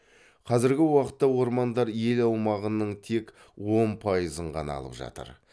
қазіргі уақытта ормандар ел аумағының тек он пайызын ғана алып жатыр